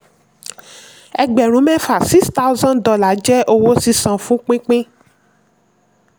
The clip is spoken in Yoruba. ẹgbẹ̀rún mẹ́fà six thousand dollar jẹ́ owó sísan fún pínpín.